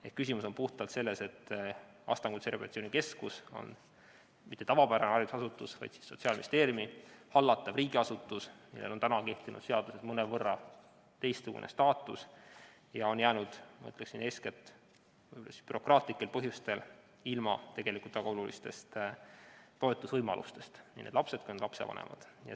Ehk küsimus on puhtalt selles, et Astangu Kutserehabilitatsiooni Keskus ei ole mitte tavapärane haridusasutus, vaid on Sotsiaalministeeriumi hallatav riigiasutus, millel on kehtivas seaduses mõnevõrra teistsugune staatus, ja seetõttu on jäänud ilma – ma ütleksin, eeskätt bürokraatlikel põhjustel – tegelikult väga olulistest toetusvõimalustest nii need lapsed kui ka lapsevanemad.